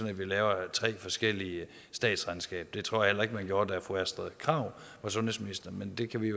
at vi laver tre forskellige statsregnskaber det tror jeg heller ikke man gjorde da fru astrid krag var sundhedsminister men det kan vi